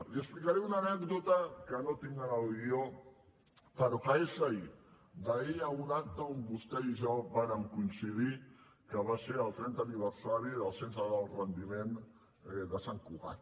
li explicaré una anècdota que no tinc en el guió però que és d’ahir d’ahir en un acte on vostè i jo vàrem coincidir que va ser el trentè aniversari del centre d’alt rendiment de sant cugat